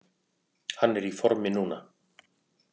Hann er í formi núna.